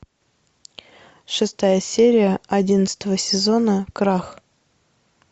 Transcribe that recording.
шестая серия одиннадцатого сезона крах